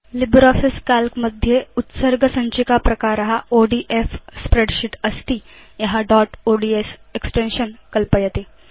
LibreOffice Calc मध्ये उत्सर्ग सञ्चिका प्रकार ओडीएफ स्प्रेडशीट् अस्ति य दोत् ओड्स् एक्सटेन्शन् कल्पयति